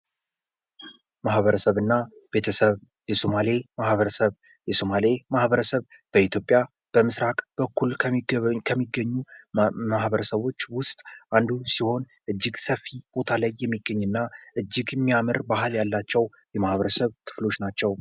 ማበረሰብና ቤተሰብ፦ የሶማሌ ማበረሰብ ፦የሶማሌ ማበረሰብ በኢትዮጵያ በምስራቅ በኩል ከሚገኙ ማህበረሰቦች ውስጥ አንዱ ሲሆን እጅግ ሰፊ ቦታ ላይ የሚገኝና እጅግ የሚያምር ባህል ያላቸው የማህበረሰብ ክፍሎች ናቸው።